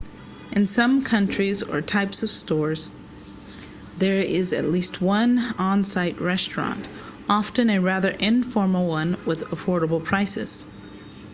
in some countries or types of stores there is at least one on-site restaurant often a rather informal one with affordable prices